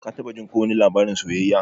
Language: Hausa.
Ka taba jin ko wani labarin soyayya?